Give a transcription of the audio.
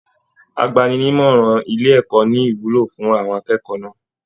Àgbàni-ní-ìmọràn ilé ẹ̀kọ́ ní ìwúlò fún àwọn akẹ́kọ̀ọ́ náà.